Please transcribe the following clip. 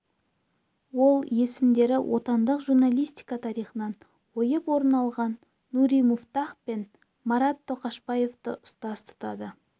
ол есімдері отандық журналистика тарихынан ойып орын алған нури муфтах пен марат тоқашбаевты ұстаз тұтады